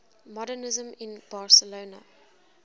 modernisme in barcelona